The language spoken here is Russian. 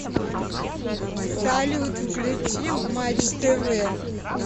салют включи матч тв